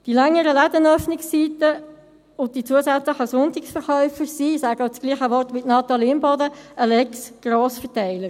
Die längeren Ladenöffnungszeiten und die zusätzlichen Sonntagsverkäufe sind – ich gebrauche dasselbe Wort wie Natalie Imboden – eine «Lex Grossverteiler».